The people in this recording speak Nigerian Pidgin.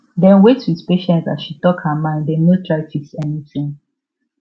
dem wait with patience as she talk her mind dem no try fix anything